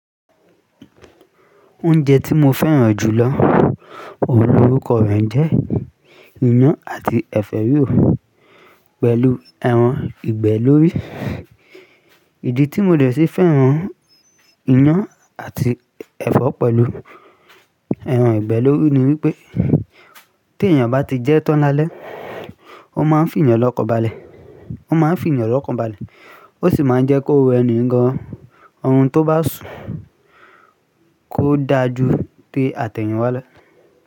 Oúnjẹ tí mo fẹ́ràn jù lọ, orúkọ rẹ̀ ń jẹ́ iyán àti ẹ̀fọ́ rírò pẹ̀lú ẹran ìgbẹ́ lórí. Ìdí tí mo dẹ̀ sí fẹ́ràn iyán àti ẹ̀fọ́ pẹ̀lú ẹran ìgbẹ́ lórí ni wípé tí èeyàn bá ti jẹ ẹ́ tán lálẹ́, ó máa ń fún yàn lọ́kàn balẹ̀, ó máa ń fún yàn lọ́kàn balẹ̀ ó sì máa ń jẹ́ kó wo ẹni gan-an, ohun tó bá ṣú kò dáa ju té àtẹ̀yìnwá lọ.